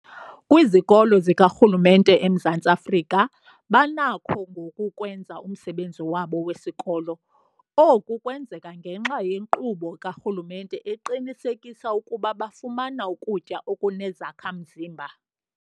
Kwizikolo zikarhulumente eMzantsi Afrika banakho ngoku ukwenza umsebenzi wabo wesikolo. Oku kwenzeka ngenxa yenkqubo karhulumente eqinisekisa ukuba bafumana ukutya okunezakha-mzimba.